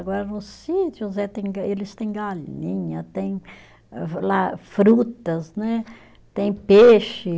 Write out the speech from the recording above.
Agora nos sítios eles têm galinha, tem lá frutas né, têm peixe.